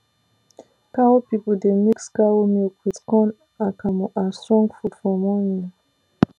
cow people dey mix cow milk with corn akamu as strong food for morning